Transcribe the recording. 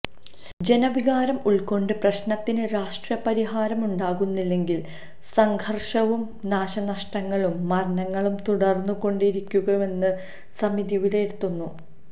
ജനവികാരം ഉള്ക്കൊണ്ട് പ്രശ്നത്തിന് രാഷ്ട്രീയ പരിഹാരം ഉണ്ടാകുന്നില്ലെങ്കില് സംഘര്ഷവും നാശനഷ്ടങ്ങളും മരണങ്ങളും തുടര്ന്നു കൊണ്ടേയിരിക്കുമെന്ന് സമിതി വിലയിരുത്തുന്നു